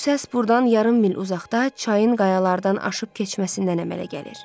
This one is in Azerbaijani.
Bu səs buradan yarım mil uzaqda çayın qayalardan aşıb keçməsindən əmələ gəlir.